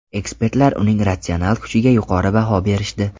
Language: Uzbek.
Ekspertlar uning ratsional kuchiga yuqori baho berishdi.